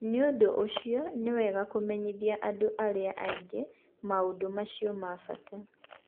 Nĩ ũndũ ũcio, nĩ wega kũmenyeria andũ arĩa angĩ maũndũ macio ma bata.